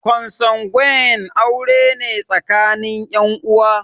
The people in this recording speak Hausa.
Konsanguine aure ne tsakanin ƴan uwa